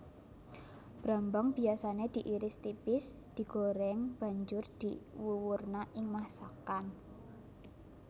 Brambang biyasané diiris tipis digoreng banjur diwuwurna ing masakan